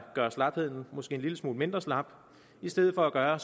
gøre slapheden en lille smule mindre slap i stedet for at gøre